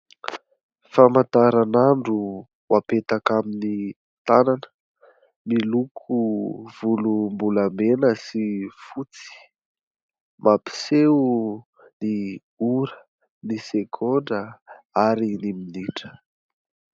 Famataran'andro ho apetaka amin'ny tànana, miloko volom-bolamena sy fotsy, mampiseho ny ora, ny segondra ary ny minitra.